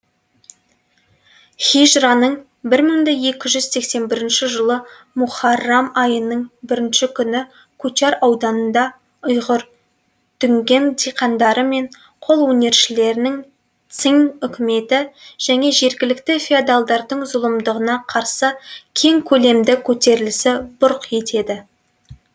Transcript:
хижраның бір мың да екі жүз сексен бірінші жылғы муһаррам айының бірінші күні кучар ауданында ұйғыр дүнген диқандары мен қолөнершілерінің циң үкіметі және жергілікті феодалдардың зұлымдығына қарсы кең көлемді көтерілісі бұрқ етеді